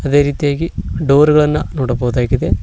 ಅದೇ ರೀತಿಯಾಗಿ ಡೋರ್ ಗಳನ್ನ ನೋಡಬಹುದಾಗಿದೆ.